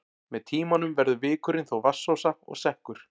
Með tímanum verður vikurinn þó vatnsósa og sekkur.